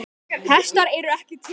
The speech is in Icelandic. Hestar eru ekki til.